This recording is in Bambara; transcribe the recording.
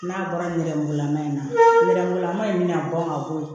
N'a bɔra nɛrɛmugulama in na nɛrɛmugulama in bɛna bɔn ka bɔ ye